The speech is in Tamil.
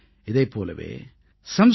இதைப் போலவே samskritabharati